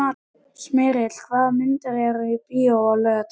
Smyrill, hvaða myndir eru í bíó á laugardaginn?